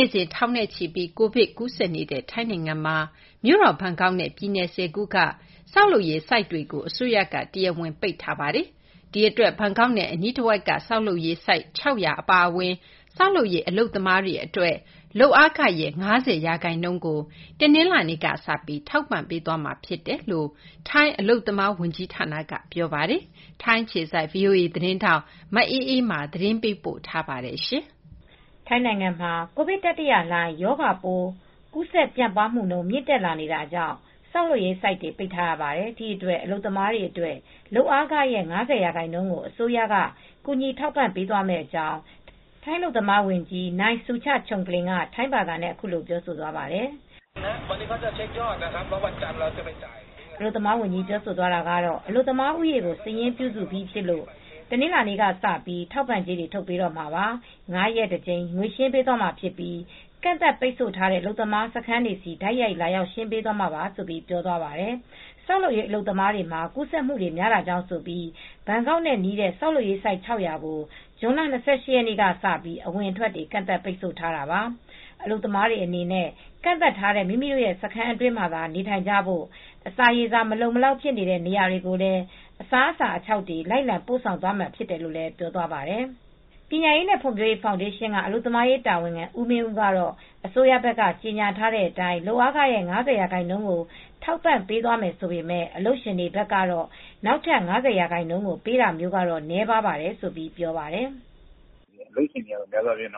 ေ့စဉ် ထောင်ချီပြီး ကိုဗစ်ကူးစက်နေတဲ့ ထိုင်းနိုင်ငံမှာ ဘန်ကောက်နဲ့ ပြည်နယ် ၁၀ ခုက ဆောက်လုပ်ရေးဆိုက်တွေကို အစိုးရက တရားဝင် ပိတ်ခိုင်းထားပါတယ်။ ဒီအတွက် ဘန်ကောက်နဲ့ အနီးတဝိုက်က ဆောက်လုပ်ရေးဆိုက် ၆၀၀ အပါအဝင် ဆောက်လုပ်ရေး အလုပ်သမားတွေအတွက် လုပ်အားခ ၅၀ ရာခိုင်နှုန်းကို တနင်္လာနေ့ကစပြီး ထောက်ပံ့ပေးသွားမှာ ဖြစ်တယ်လို့ ထိုင်းအလုပ်သမားဝန်ကြီးက ပြောပါတယ်။ အပြည့်အစုံကို မအေးအေးမာ တင်ပြပေးထားပါတယ်။ ထိုင်းနိုင်ငံမှာ ကိုဗစ်တတိယလှိုင်း ရောဂါပိုး ကူးစက်ပြန့်ပွားမှု မြင့်တက်နေတာကြောင့် ဆောက်လုပ်ရေးဆိုက်တွေ ပိတ်ထားရပါတယ်။ ဒီအတွက် အလုပ်သမားတွေအတွက် လုပ်ခရဲ့ ၅၀ ရာခိုင်နှုန်းကို အစိုးရက ကူညီထောက်ပံ့ပေးသွားမယ့်အကြောင်း ထိုင်းအလုပ်သမားဝန်ကြီး Mr. Suchart Chomklin က ထိုင်းဘာသာနဲ့ အခုလို ပြောသွားပါတယ်။ “အလုပ်သမားဦးရေကို စာရင်းပြုစုပြီးဖြစ်လို့ တနင်္လာနေ့ကစပြီး ထောက်ပံ့ကြေးတွေ ထုတ်ပေးမှာပါ။ ငါးရက်တကြိမ် ငွေရှင်းပေးမှာဖြစ်ပြီး ကန့်သတ်ပိတ်ဆို့ထားတဲ့ အလုပ်သမား စခန်းတွေဆီ တိုက်ရိုက် လာရောက်ရှင်းပေးမှာပါ။” ဆိုပြီး အလုပ်သမားဝန်ကြီး ပြောသွားတာ ဖြစ်ပါတယ်။ ဆောက်လုပ်ရေး အလုပ်သမားတွေမှာ ကူးစက်မှု များတာကြောင့်ဆိုပြီး ဘန်ကောက်နဲ့နီးတဲ့ ဆောက်လုပ်ရေးဆိုက် ၆၀၀ ကို ဇွန်လ ၂၈ ရက်နေ့ကစပြီး အဝင်အထွက် ကန့်သတ်ပိတ်ဆို့ထားပါတယ်။ အလုပ်သမားတွေအနေနဲ့ ကန့်သတ်ထားတဲ့ မိမိတို့ရဲ့ စခန်းတွင်းမှာသာ နေထိုင်ကြဖို့ အစာရေစာ မလုံလောက်ဖြစ်နေတဲ့ နေရာတွေကိုလည်း အစားအစာအခြောက်တွေ လိုက်လံပို့ဆောင်ပေးနေပြီလို့လည်း ပြောသွားပါတယ်။ ပညာရေးနဲ့ ဖွံ့ဖြိုးရေး ဖောင်ဒေးရှင်းက အလုပ်သမားရေးရာ တာဝန်ခံ ဦးမင်းဦးကတော့ အစိုးရဘက်ကတော့ ကြေညာထားတဲ့အတိုင်း လုပ်အားခရဲ့ ၅၀ ရာခိုင်နှုန်းကို ထောက်ပံ့ပေးတယ်ဆိုပေမယ့် အလုပ်ရှင်တွေဘက်ကတော့ နောက်ထပ် ၅၀ ရာခိုင်နှုန်းကို ပေးတာမျိုးကတော့ နည်းပါတယ်လို့ ဆိုပါတယ်။ “အလုပ်ရှင်တွေကတော့ များသောအားဖြင့်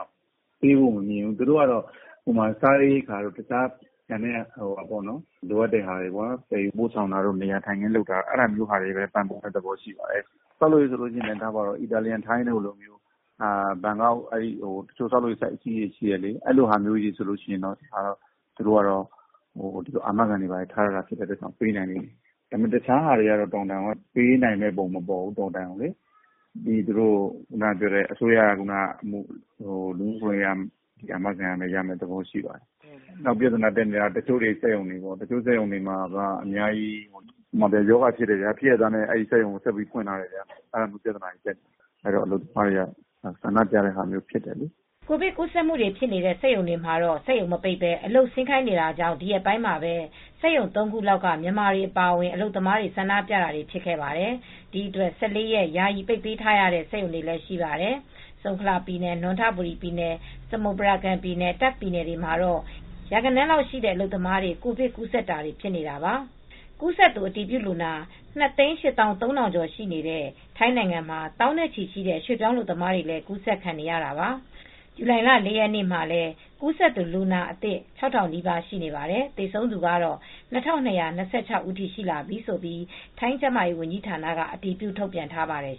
ပေးဖို့မမြင်ဘူး။ သူတို့က စားနပ်ရိက္ခာတွေ၊ တခြား ကျန်တဲ့ လိုအပ်တဲ့ဟာတွေ၊ သယ်ယူပို့ဆောင်ရေးတွေ၊ နေရာထိုင်ခင်းတွေ အဲဒါတွေပဲ ပံ့ပိုးမယ့်သဘော ရှိပါတယ်။ ဘန်ကောက် တခြားဆောက်လုပ်ရေးဆိုက်တွေထဲက အီတာလျံထိုင်းတို့ တခြား ဆောက်လုပ်ရေးဆိုက်ကြီးတွေ ဘာတို့ဆိုရင်တော့ အဲဒီလိုဟာမျိုးတွေ ဆိုရင်တော့ သူတို့က အာမခံတွေ ဘာတွေထားတော့ သူတို့ကတော့ ပေးနိုင်လိမ့်မယ်။ တခြားဟာတွေကတော့ တော်ရုံတန်ရုံ ပေးနိုင်မယ့်ပုံမပေါ်ဘူး။ အစိုးရရဲ့ လူမှုဖူလုံရေး အာမခံကပဲ ရမယ့်သဘော ရှိပါတယ်။ ပြဿနာတက်နေတာက တချို့စက်ရုံတွေဆိုရင် ရောဂါဖြစ်တယ်၊ အဲဒါကို ဆက်ပြီးဖွင့်ထားတယ်။ အလုပ်သမားတွေက ဆန္ဒပြနေတာမျိုးတွေ ဖြစ်နေတယ်လေ။” ကိုဗစ်ကူးစက်မှုတွေ ဖြစ်နေတဲ့ စက်ရုံတွေမှာတော့ စက်ရုံမပိတ်ဘဲ အလုပ်ဆင်းခိုင်းနေတာကြောင့် ဒီရက်ပိုင်းမှာပဲ စက်ရုံ ၃ ခုလောက်က မြန်မာတွေ အပါအဝင် အလုပ်သမားတွေ ဆန္ဒပြတာတွေ ဖြစ်ခဲ့ပါတယ်။ ဒီအတွက် ၁၄ ရက် ယာယီပိတ်ပေးထားတဲ့ စက်ရုံတွေလည်း ရှိပါတယ်။ ဆုံခလာပြည်နယ်၊ နွံထဘူရီပြည်နယ်၊ စမုတ်ပရာကန်ပြည်နယ်၊ တာ့ခ်ပြည်နယ်တွေမှာတော့ ရာဂဏန်းလောက်ရှိတဲ့ အလုပ်သမားတွေ ကိုဗစ်ကူးစက်တာတွေ ဖြစ်နေတာပါ။ ကူးစက်သူ အတည်ပြုလူနာ ၂၈၃,၀၀၀ ကျော်ရှိနေတဲ့ ထိုင်းနိုင်ငံမှာ သောင်းနဲ့ချီရှိတဲ့ ရွှေ့ပြောင်းအလုပ်သမားတွေလည်း ကူးစက်ခံနေရတာပါ။ ဇူလိုင်လ ၄ ရက်နေ့မှာလည်း ကူးစက်သူ လူနာအသစ် ၆,၀၀၀ နီးပါး ရှိနေပါတယ်။ သေဆုံးသူကတော့ ၂,၂၂၆ ဦးထိ ရှိလာပြီလို့ ထိုင်းကျန်းမာရေးဝန်ကြီးဌာနက အတည်ပြု ထုတ်ပြန်ထားပါတယ်